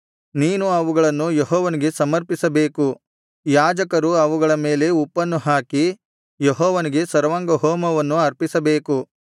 ನೀನು ಅವುಗಳನ್ನು ಯೆಹೋವನಿಗೆ ಸಮರ್ಪಿಸಬೇಕು ಯಾಜಕರು ಅವುಗಳ ಮೇಲೆ ಉಪ್ಪನ್ನು ಹಾಕಿ ಯೆಹೋವನಿಗಾಗಿ ಸರ್ವಾಂಗಹೋಮವನ್ನು ಅರ್ಪಿಸಬೇಕು